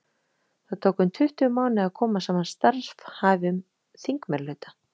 Þá tók um tuttugu mánuði að koma saman starfhæfum þingmeirihluta.